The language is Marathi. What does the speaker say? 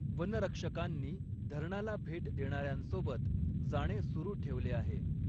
वनरक्षकांनी धरणाला भेट देणाऱ्यांसोबत जाणे सुरू ठेवले आहे.